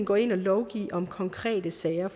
gå ind og lovgive om konkrete sager